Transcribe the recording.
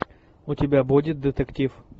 у тебя будет детектив